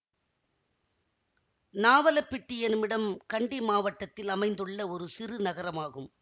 நாவலப்பிட்டி எனுமிடம் கண்டிமாவட்டத்தில் அமைந்துள்ள ஒரு சிறு நகரமாகும்